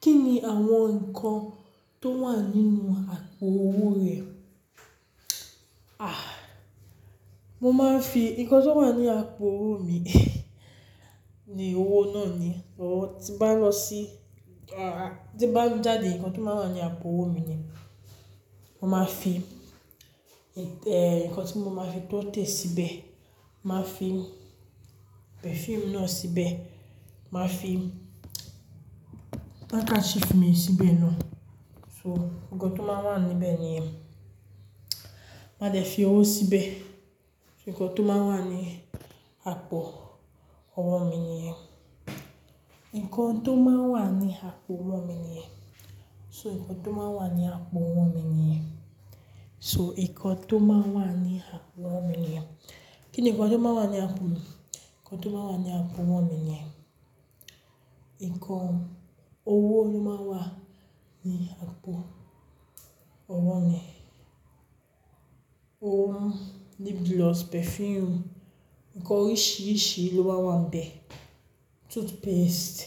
Kí ni àwọn nǹkan tó wà nínú àpò owó rẹ? Mo máa ń fi nǹkan tó wà ní àpò owó mi ni owó náà ni. Bí mo bá lọ sí, tí n bá jáde, nǹkan tó máa ń wà ní àpò owó mi ni mo máa fi nǹkan tí mo máa fi tọ́tẹ̀ síbẹ̀, màá fi perfume náà síbẹ̀, màá fi káṣífu mi síbẹ̀ náà. So ǹkan tó máa ń wà níbẹ̀ nìyẹn. Màá dẹ fi owó síbẹ̀. Ǹkan tó máa ń wà ní àpò owó mi nìyẹn. Ìkọ̀ tó máa wà ní àpò owó mi nìyẹn. So ìkọ̀ tó máa wà ní àpò owó mi nìyẹn. So ìkọ̀ tó máa wà ní àpò owó mi nìyẹn. Kíni ǹkan tó máa ń wà ní àpò? Ǹkan tó máa ń wà ní àpò owó mi nìyẹn. Ǹkan, owó ló máa ń wà ní àpò owó mi. Ohun lip gloss, perfume, nǹkan oríṣìíríṣìí ló máa ń wà n bẹ̀. Toothpaste.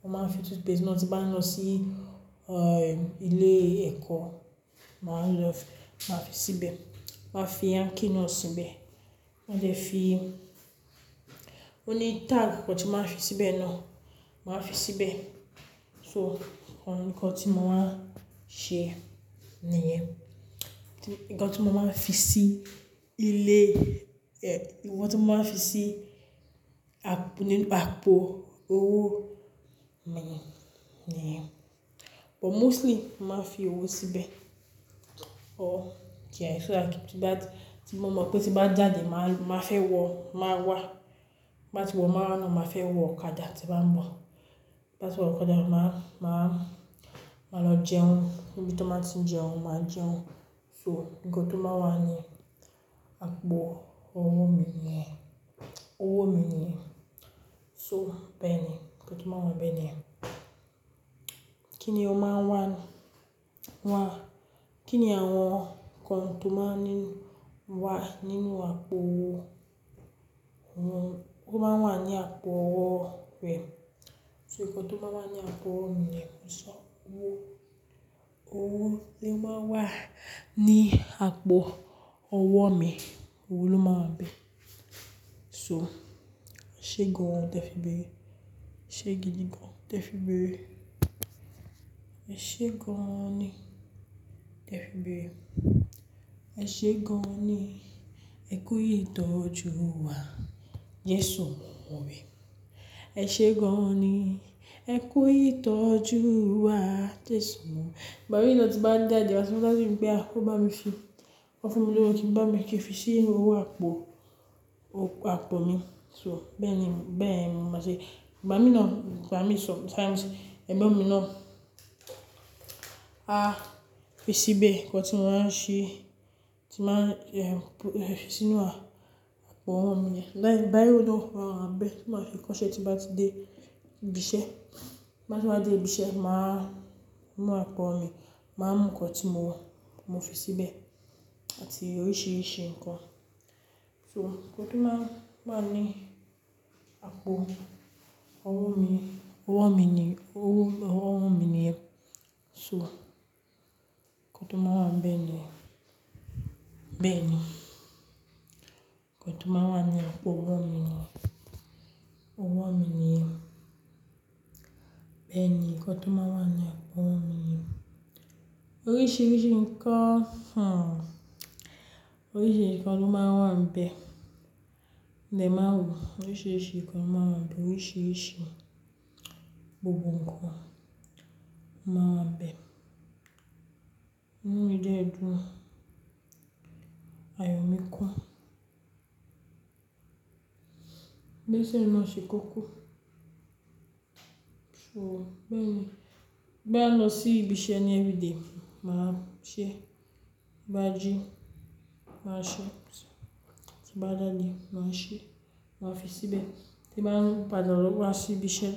Mo máa ń fi toothpaste náà tí bá n lọ sí, ilé ẹ̀kọ́, màá lọ, màá fi síbẹ̀. Màá fi ankee náà síbẹ̀. Màá dẹ fi. Ó ní tag, kan tí màá n fi síbẹ̀ náà, màá fi síbẹ̀. So òun ni nǹkan tí mo máa ń ṣe nìyẹn. Nǹkan tí mo máa ń fi sí ilé ìwọ̀n tí mo máa ń fi sí àpò nínú àpò owó mi nìyẹn. But mostly, mo màá n fi owó síbẹ̀. Or so that tí bá ti mo mọ̀ pé tí bá jáde, màá, màá fẹ́ wọ, márwá. Tí bá ti wọ̀ marwa náà, màá fẹ́ wọ ọ̀kadà tí bá ń bọ̀. Tí bá ti wọ ọ̀kadà yẹn, màá, màá, màá lọ jẹun. Níbi tí wọ́n ma ti ń jẹun, màá jẹun. So nǹkan tó máa wà ní àpò owó mi nìyẹn. Owó mi nìyẹn. So, bẹ́ẹ̀ni nǹkan tó máa wà n bẹ̀ ni yẹn. Kíni o máa wà. Kí ni àwọn nǹkan tó máa ń wà nínú àpò owó, owó, owó tó máa ń wà ní àpò owó rẹ? So nǹkan tó máa ń wà ní àpò owó mi nìyẹn. So owó, owó ló máa ń wà ní àpọ̀ owó mi. Owó ló máa ń wà níbẹ̀. So. Ẹ̀ṣẹ́ gan-an tẹ fi bẹ̀erẹ́. Ẹ̀ṣẹ́ gidi gan-an tẹ fi bẹ̀ ẹ́. Ẹ̀ṣẹ́ gan-an ni tẹ fi bẹ̀ ẹ́. Ẹ̀ṣẹ́ gan-an ni ẹ kú ìtọ́jú wa, Jésù mo mo ọ̀rẹ́. Ẹ̀ṣẹ́ gan-an ni ẹ kú ìtọ́jú wa, Jésù mi. Ìgbà mi náà tí bá ń jáde, máa sọ dáddy pé a, ó bá mi fi, kó fún mi lówó kí n bá mi kí n fi sí inú owó àpò, àpò mi. So bẹ́ẹ̀ ni, bẹ́ẹ̀ ni mo máa ṣe. Ìgbà mi náà, bàbá mi sọ. Ẹ̀gbọ́n mi náà, a fi síbẹ̀ nǹkan tí mo máa ń ṣe, tí màá, e, fi sínú àpò owó mi nìyẹn. Lẹ́yìn biro náà máa ń wà bẹ́ẹ̀, tí màá fi kọ ṣẹ́ tí bá ti dé ibi iṣẹ́. Tí n bá tún wá dé ibi iṣẹ́, màá mú àpò mi, màá mú nǹkan tí mo, mo fi síbẹ̀ àti oríṣìíríṣìí nǹkan. So nǹkan tó máa ń wà ní àpò owó mi, owó mi ni, owó, owó mi nìyẹn. So nǹkan tó máa ń wà níbẹ̀ nìyẹn. Bẹ́ẹ̀ ni. Nǹkan tó máa wà nínú owó mi nìyẹn. Owó mi ni. Bẹ́ẹ̀ ni. Nǹkan tó máa ń wà nínú àpò owó mi nìyẹn. Oríṣìíríṣìí nǹkan, oríṣìíríṣìí nǹkan ló máa ń wà níbẹ̀. Mo dẹ̀ máa rò. Oríṣìíríṣìí nǹkan máa ń wà níbẹ̀. Oríṣìíríṣìí gbogbo nǹkan máa ń wà níbẹ̀. Nínú ilé ẹ̀dùn ayọ̀ mi kún. Mason náà ṣe kókó. So bẹ́ẹ̀ ni. Tí n bá lọ sí ibi iṣẹ́ ní everyday, màá ṣẹ́. Bí a jí, màá ṣẹ́. Tí bá de de, màá ṣẹ́, màá fi síbẹ̀. Tí bá ń padà lọ wa sí ibi iṣẹ́,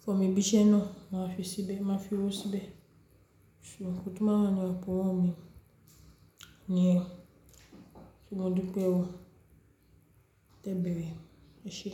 fún mi ibi iṣẹ́ náà, màá fi síbẹ̀, màá fi owó síbẹ̀. So ìkọ̀ tó máa ń wà ní àpò owó mi nìyẹn. Modúpẹ́ o. Ẹ gbìyànjú. Ẹ ṣé.